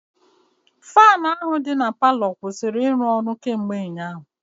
Faanụ ahụ dị na palọ kwụsịrị ịrụ ọrụ kemgbe ụnyaahụ.